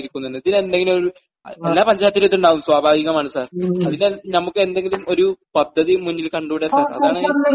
ജോലി ഇല്ലാതെ സാർ ഇരിക്കുന്നുണ്ട്.ഇതിനെന്തെങ്കിലും ഒരു...എല്ലാ പഞ്ചായത്തിലും ഇതുണ്ടാകും, സ്വാഭാവികമാണ് സാർ..അതിന് നമുക്കെന്തെങ്കിലും ഒരു പദ്ധതി മുന്നിൽ കണ്ടൂടെ സാർ?